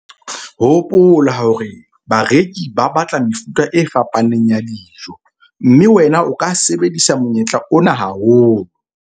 Hopola ka mehla hore bareki ba batla mefuta e fapaneng ya dijo, mme wena o ka sebedisa monyetla ona haholo.